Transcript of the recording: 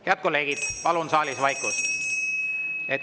Head kolleegid, ma palun saalis vaikust!